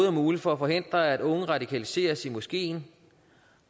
er muligt for at forhindre at unge radikaliseres i moskeen